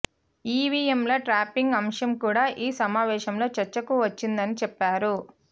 ఈవీఎంల ట్యాంపరింగ్ అంశం కూడా ఈ సమావేశంలో చర్చకు వచ్చిందని చెప్పారు